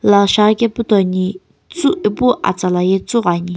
lo shaghi kaepu toni epu atsla ye tsiighoni.